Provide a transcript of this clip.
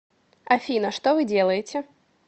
афина что вы делаете